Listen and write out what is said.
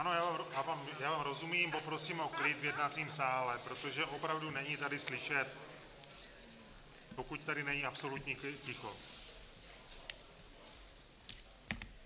Ano, já vám rozumím, poprosím o klid v jednacím sále, protože opravdu není tady slyšet, pokud tady není absolutní ticho.